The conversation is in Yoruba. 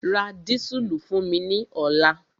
Ra dísùlù fún mi ní ọ̀la!